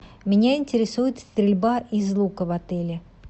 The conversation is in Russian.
меня интересует стрельба из лука в отеле